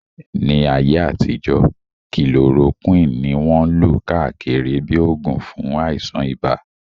Ní ayé àtijọ́, kilorokíwìn ní wọ́n lò káàkiri bíi oògùn fún àìsàn ibà